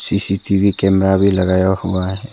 CCTV camera भी लगाया हुआ है।